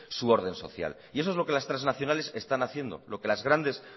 su orden social y eso es lo que las transnacionales están haciendo lo que las grandes